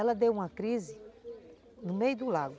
Ela deu uma crise no meio do lago.